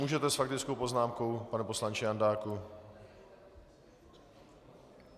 Můžete s faktickou poznámkou, pane poslanče Jandáku.